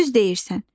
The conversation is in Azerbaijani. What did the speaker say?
Düz deyirsən.